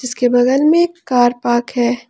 उसके बगल में कार पार्क है।